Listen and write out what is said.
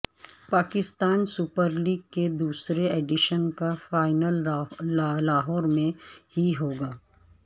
Pakistan super league کے دوسرے edition کا فائنل لاہور میں ہی ہو گا